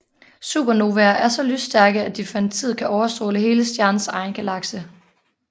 Supernovaer er så lysstærke at de for en tid kan overstråle hele stjernens egen galakse